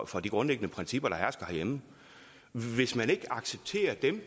for de grundlæggende principper der hersker herhjemme hvis man ikke accepterer dem